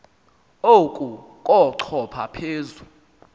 oku kochopha phezu